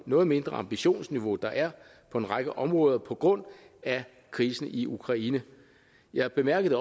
noget mindre ambitionsniveau der er på en række områder på grund af krisen i ukraine jeg bemærkede